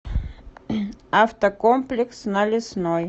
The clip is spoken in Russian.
автокомплекс на лесной